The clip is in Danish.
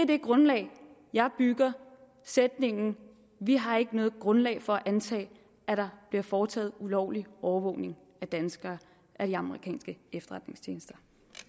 det grundlag jeg bygger sætningen vi har ikke noget grundlag for at antage at der bliver foretaget ulovlig overvågning af danskere af de amerikanske efterretningstjenester